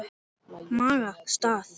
Maga. stað?